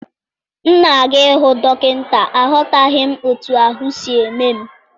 M na-aga ịhụ dọkịnta, aghọtaghị m otú ahụ m si eme m.